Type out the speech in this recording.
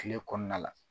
Kile kɔnɔna la